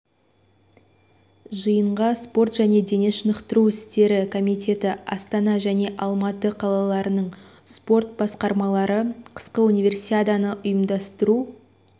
жиынға спорт және дене шынықтыру істері комитеті астана және алматы қалаларының спорт басқармалары қысқы универсиаданы ұйымдастыру